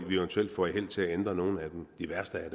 i hvert fald